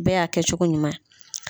O bɛɛ. y'a kɛ cogo ɲuman ye.